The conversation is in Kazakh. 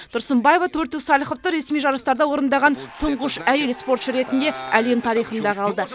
тұрсынбаева төрттік сальховты ресми жарыстарда орындаған тұңғыш әйел спортшы ретінде әлем тарихында қалды